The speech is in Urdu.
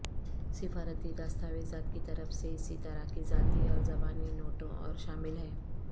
سفارتی دستاویزات کی طرف سے اسی طرح کی ذاتی اور زبانی نوٹوں اور شامل ہیں